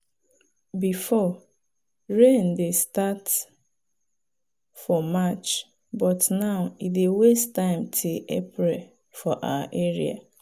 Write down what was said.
before rain dey start for march but now e dey waste time till april for our area.